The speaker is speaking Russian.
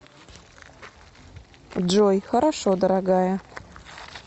джой хорошо дорогая